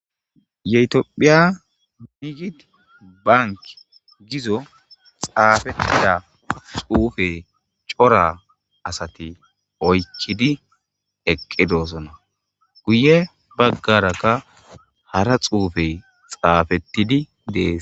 Ye tophphiya niggidi baanki giiza xafettida xuufe cora asati oykkidi eqqidossona guye baggaraka hara xuufey xafettidi dess.